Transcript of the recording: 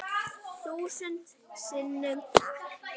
Þúsund sinnum takk.